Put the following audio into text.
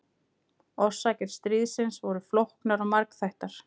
Orsakir stríðsins voru flóknar og margþættar.